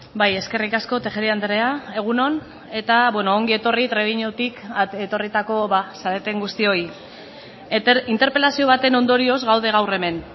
bai eskerrik asko tejeria andrea egun on eta ongi etorri trebiñutik etorritako zareten guztioi interpelazio baten ondorioz gaude gaur hemen